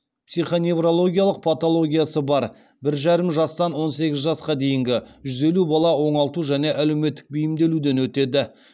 психоневрологиялық патологиясы бар бір жарым жастан он сегіз жасқа дейінгі жүз елу бала оңалту және әлеуметтік бейімделуден өтеді